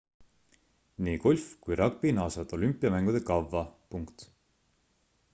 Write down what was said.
nii golf kui ragbi naasevad olümpiamängude kavva